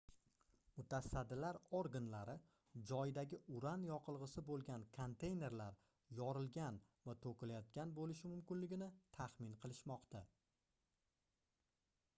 mutasaddilar organlari joydagi uran yoqilgʻisi boʻlgan konteynerlar yorilgan va toʻkilayotgan boʻlishi mumkinligini taxmin qilishmoqda